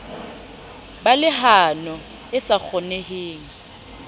ba lehano e sa kgoneheng